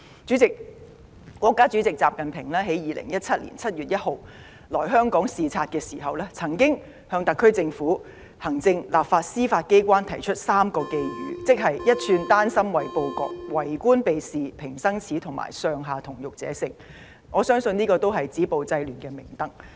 主席，國家主席習近平在2017年7月1日來香港視察時，曾向特區政府行政、立法及司法機關提出3個寄語，即"一寸丹心唯報國"、"為官避事平生耻"及"上下同欲者勝"，我相信這也是止暴制亂的明燈。